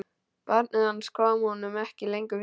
Barnið hans kom honum ekki lengur við.